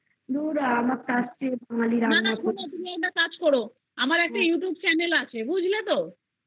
না না তুমি একটা কাজ করো আমার একটা Youtube channel আছে বুঝলে তো